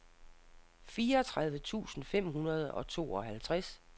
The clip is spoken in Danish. fireogtredive tusind fem hundrede og tooghalvtreds